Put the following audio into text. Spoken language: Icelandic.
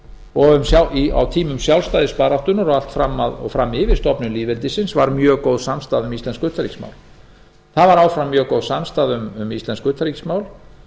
og á tímum sjálfstæðisbaráttunnar og fram yfir stofnun lýðveldisins var mjög góð samstaða um íslensk utanríkismál það var áfram mjög góð samstaða um íslensk utanríkismál